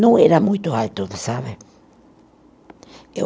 Não era muito alto, sabe? Eu